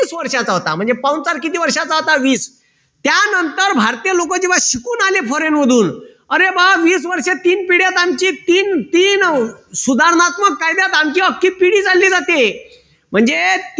वीस वर्षाचा होता म्हणजे पाहुणचार किती वर्षाचा होता वीस. त्यानंतर भारतीय लोक जेव्हा शिकून आले foreign मधून अरे वीस वर्षात आमची तीन पिढ्यात आमची तीन तीन सुधारणात्मक कायद्यात आमची अक्खी पिढी चालली जाते म्हणजे